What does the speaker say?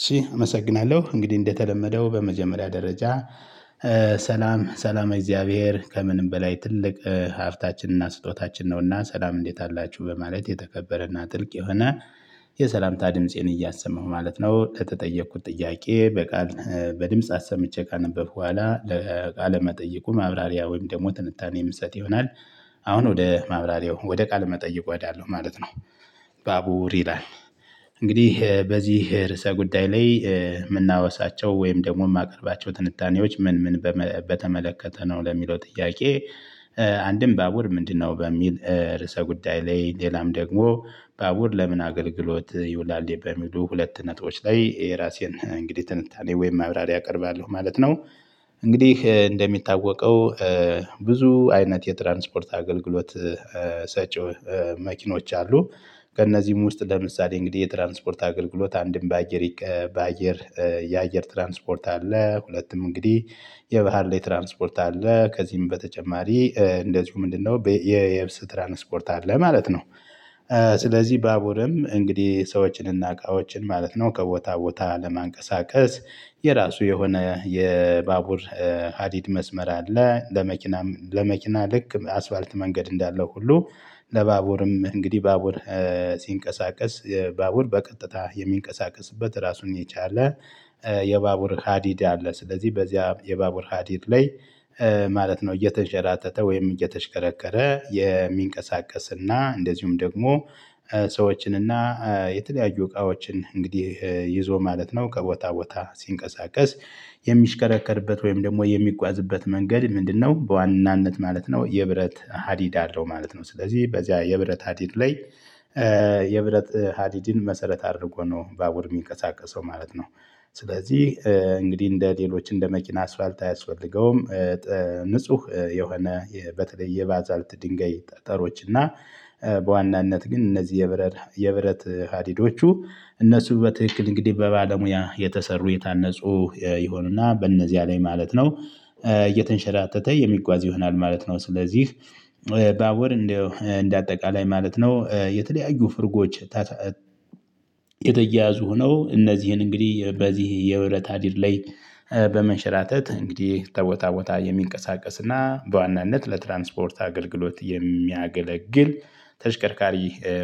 እሽ አመሰግናለሁ እንግዲህ እንደተለመደው በመጀመሪያ ደረጃ። ሰላም ሰላመ እግዚአብሔር ከምንም በላይ ትልቅ ሐፍታችን እና ስጦታችን ነው እና ሰላም እንዴት አላችሁ በማለት የተከበረና ጥልቅ የሆነ የሰላምታ ድምፄን እያሰማሁ ማለት ነው። ከተጠየቅኩት ጥያቄ በቃል በድምጽ አሰምቼ ካነበብኩ በኋላ ለቃለ መጠይቁ ማብራሪያ ወይም ደግሞ ትንታኔ ምሰጥ ይሆናል። አሁን ወደ ማብራሪያው ወደ ቃለ መጠየቅ እሄዳለው ማለት ነው። ባቡር ይላል። እንግዲህ በዚህ ርዕሰ ጉዳይ ላይ ምናወሳቸው ወይም ደግሞ ማቀርባቸው ትንታኔዎች ምን ምን በተመለከተ ነው ለሚለው ጥያቄ? አንድም ባቡር ምንድን ነው በሚል ርዕሰ ጉዳይ ላይ ሌላም ደግሞ ባቡር ለምን አገልግሎት ይውላል በሚሉ ሁለት ነጥቦች ላይ የራሴን እንግዲህ ትንታኔ ወይም ማብራሪያ አቀርባለሁ ማለት ነው። እንግዲህ እንደሚታወቀው ብዙ አይነት የትራንስፖርት አገልግሎት ሰጪ መኪኖች አሉ። ከእነዚህም ውስጥ ለምሳሌ እንግዲህ የትራንስፖርት አገልግሎት አንድም በአየር በአየር የአየር ትራንስፖርት አለ። ሁለትም እንግዲህ የባህር ላይ ትራንስፖርት አለ። ከዚህም በተጨማሪ እንደዚሁ ምንድን ነው የየብስ ትራንስፖርት አለ ማለት ነው። ስለዚህ ባቡርም እንግዲህ ሰዎችን እና እቃዎችን ማለት ነው ከቦታ ቦታ ለማንቀሳቀስ የራሱ የሆነ የባቡር ሀዲድ መስመር አለ። ለመኪና ለመኪና ልክ አስፋርት መንገድ እንዳለው ሁሉ ለባቡርም እንግዲህ ባቡር ሲንቀሳቀስ ባቡር በቀጥታ የሚንቀሳቀስበት ራሱን የቻለ የባቡር ሀዲድ አለ። ስለዚህ በዚያ የባቡር ሀዲድ ላይ ማለት ነው እየተንሸራተተ ወይም እየተሽከረከረ የሚንቀሳቀስና እንደዚሁም ደግሞ ሰዎችንና የተለያዩ እቃዎችን እንግዲህ ይዞ ማለት ነው ከቦታ ቦታ ሲንቀሳቀስ። የሚሽከረከርበት ወይም ደግሞ የሚጓዝበት መንገድ ምንድን ነው በዋናነት ማለት ነው። የብረት ሀዲድ አለው ማለት ነው። ስለዚህ በዚያ የብረት ሀዲድ ላይ የብረት ሀዲድን መሰረት አድርጎ ነው ባቡር ሚንቀሳቀሰው ማለት ነው። ስለዚህ እንግዲህ እንደ ሌሎች እንደ መኪና አስፋልት አያስፈልገውም። ንጹህ የሆነ በተለይ ባዛልት ድንጋይ ጠጠሮች እና በዋናነት ግን እነዚህ የብረት የብረት ሀዲዶቹ እነሱ በትክክል እንግዲህ በባለሙያ የተሰሩ የታነፁ የሆኑና በእነዚያ ላይ ማለት ነው እየተንሸራተተ የሚጓዝ ይሆናል ማለት ነው። ስለዚህ ባቡር እንደው እንደ አጠቃላይ ማለት ነው የተለያዩ ፍርጎች። የተያዙ ነው እነዚህን እንግዲህ በዚህ የብረት ሃዲድ ላይ በመሸራተት እንግዲህ ተቦታ ቦታ የሚንቀሳቀስና በዋናነት ለትራንስፖርት አገልግሎት የሚያገለግል ተሽከርካሪ